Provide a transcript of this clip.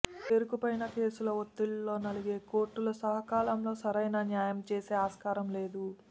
పేరుకుపోయిన కేసుల ఒత్తిళ్లలో నలిగే కోర్టులు సకాలంలో సరైన న్యాయం చేసే ఆస్కారం లేదు